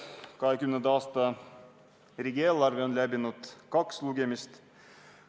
2020. aasta riigieelarve eelnõu on läbinud kaks lugemist.